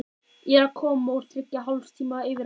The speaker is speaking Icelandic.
Ég er að koma úr þriggja og hálfs tíma yfirheyrslu.